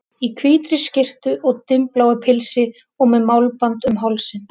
Í hvítri skyrtu og dimmbláu pilsi og með málband um hálsinn.